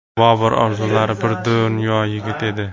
Bobur orzulari bir dunyo yigit edi.